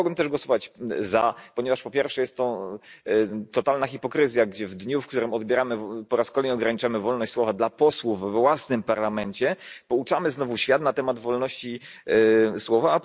Ale nie mogłem też głosować za, ponieważ po pierwsze, jest to totalna hipokryzja, gdy w dniu, w którym po raz kolejny ograniczamy wolność słowa posłów we własnym Parlamencie, pouczamy znowu świat na temat wolności słowa.